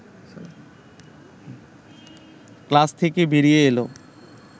class থেকে বেরিয়ে এল